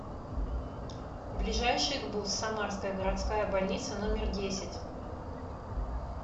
ближайший гбуз самарская городская больница номер десять